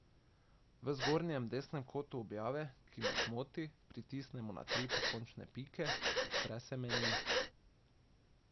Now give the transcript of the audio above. V zgornjem desnem kotu objave, ki nas moti, pritisnemo na tri pokončne pike, odpre se meni.